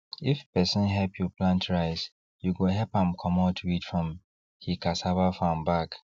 if person help you plant rice you go help am comot weed from he cassava farm back